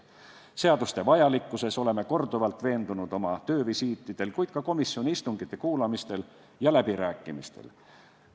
Seaduste vajalikkuses oleme korduvalt veendunud oma töövisiitidel, kuid ka komisjoni istungite kuulamisel ja läbirääkimistel.